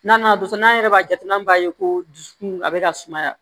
N'an nana dusu n'an yɛrɛ b'a jateminɛ b'a ye ko dusukun a bɛ ka sumaya